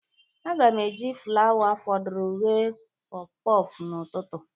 Aga m eji flawa fọdụrụ ghe pọfpọfbn'ụtụtụ.